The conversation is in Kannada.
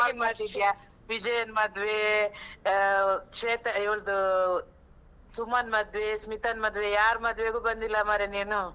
ಹಾಗೆ ಮಾಡ್ತಿದ್ಯಾ? ವಿಜಯನ್ ಮದ್ವೇ, ಆ ಶ್ವೇತ, ಇವ್ಳ್ದೂ ಸುಮನ್ ಮದ್ವೇ, ಸ್ಮಿತನ್ ಮದ್ವೆ, ಯಾರ್ ಮದ್ವೆಗೂ ಬಂದಿಲ್ಲ ಮಾರೆ ನೀನು?